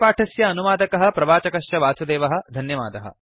अस्य पाठस्य अनुवादकः प्रवाचकश्च वासुदेवः धन्यवादः